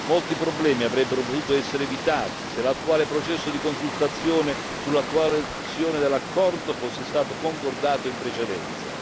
Molti problemi avrebbero potuto essere evitati se l'attuale processo di consultazione sull'attuazione dell'accordo fosse stato concordato in precedenza.